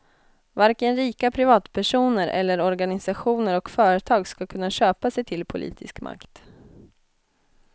Varken rika privatpersoner eller organisationer och företag ska kunna köpa sig till politisk makt.